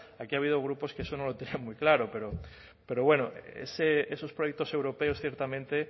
aquí ha habido grupos que eso no lo tenían muy claro pero bueno esos proyectos europeos ciertamente